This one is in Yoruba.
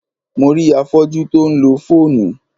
Mo rí afọ́jú tí ó ń lo fóònù.